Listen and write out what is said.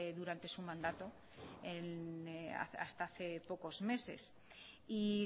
durante su mandato hasta hace pocos meses y